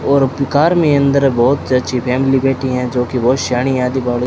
और कार में अंदर बहुत अच्छी फैमिली बैठी हैं जो की बहुत शानी आधी --